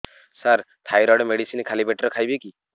ସାର thyroid medicine ଖାଲି ପେଟରେ ଖାଇବି କି